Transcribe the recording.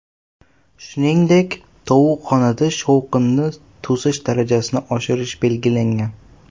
Shuningdek, tovuqxonada shovqinni to‘sish darajasini oshirish belgilangan.